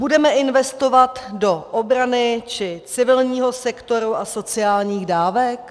Budeme investovat do obrany, či civilního sektoru a sociálních dávek?